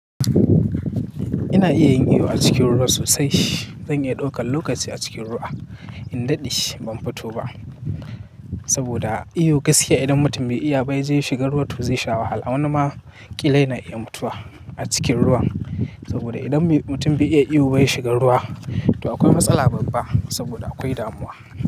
Ina iya yin iyo a cikin ruwa sosai. Zan iya ɗaukan lokaci a cikin ruwa, in daɗe shi ban fito ba. Saboda iyo gaskiya idan mutum bai iya ba, yaje shiga ruwa to zai shiga wahala. Wani ma ƙila na iya mutuwa a cikin ruwan. Saboda idan mutum bai iya iyo bai shiga ruwa, to akwai matsala babba saboda akwai damuwa.